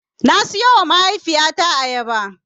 Na siyowa mahaifiyata ayaba.